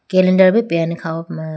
calendar bo peyane kha ho puma.